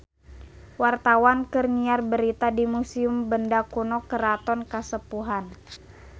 Wartawan keur nyiar berita di Museum Benda Kuno Keraton Kasepuhan